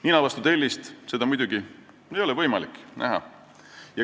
Nina vastu tellist ei ole seda muidugi võimalik näha.